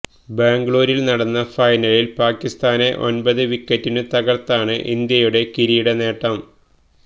ബെംഗളൂരില് നടന്ന ഫൈനലില് പാകിസ്താനെ ഒന്പത് വിക്കറ്റിനു തകര്ത്താണ് ഇന്ത്യയുടെ കിരീടനേട്ടം